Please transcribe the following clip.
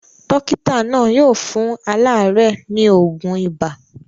Dókítà náà yóò fún aláàárẹ̀ ní òògùn ibà.